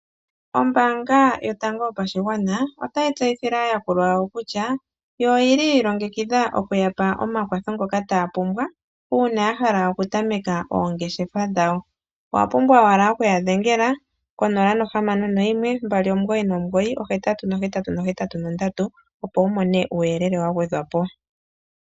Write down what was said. Ombaanga yotango yopashigwana otayi tseyithile aayakulwa yawo kutya, yo oyi li yi ilongekidha oku ya pa omakwatho ngoka taya pumbwa uuna ya hala okutameka oongeshefa dhawo. Owa pumbwa owala oku ya dhengela konola nohamano noyimwe, mbali, omugoyi nomugoyi, ohetatu nohetatu nohetatu nondatu, opo wu mone uuyelele wa gwedhwa po.